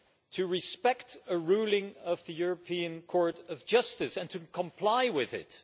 to respect a ruling of the European Court of Justice and to comply with it.